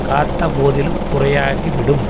காத்த போதிலும் குறையாகிவிடும்